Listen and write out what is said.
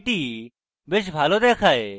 এটি বেশ ভালো দেখায়